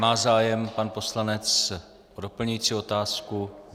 Má zájem pan poslanec o doplňující otázku?